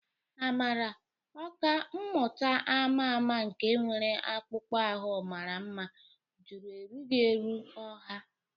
Amara, ọkà mmụta ama ama nke nwere akpụkpọ ahụ mara mma, jụrụ erughị eru ọha.